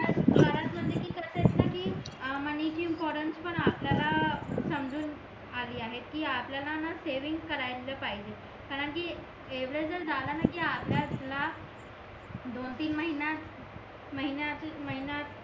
कि money money ची importance पण आपल्याला समजून अली आहे कि आपल्याला ना सेविंग करायला पाहिजे कारण कि एव्हड जर झाला ना कि आपल्याला दोन तीन महिना